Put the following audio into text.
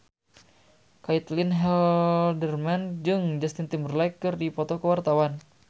Caitlin Halderman jeung Justin Timberlake keur dipoto ku wartawan